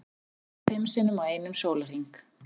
Lést fimm sinnum á einum sólarhring